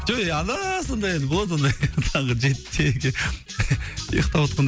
жоқ енді анда санда енді болады ондай таңғы жетіде ұйқтаватқанда